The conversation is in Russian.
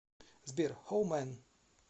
сбер хоу мэн